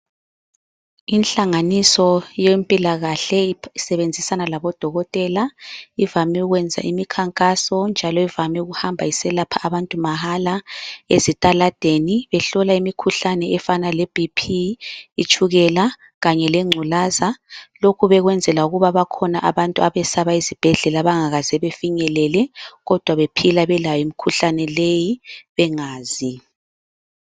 Inhlanganiso yempilakahle isebenzisana labodokotela, ivame ukwenza imikhankaso njalo ivame ukuhamba iselapha abantu mahala ezitaladeni, behlola imikhuhlane efana lebp, itshukela kanye lengculaza. Lokhu bekwenzela ukuba bakhona abantu abesaba ezibhedlela abangakaze befinyelele kodwa bephila belayo imikhuhlane leyi bengazi.